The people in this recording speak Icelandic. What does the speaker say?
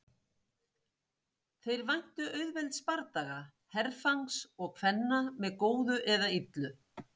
Þeir væntu auðvelds bardaga, herfangs og kvenna með góðu eða illu.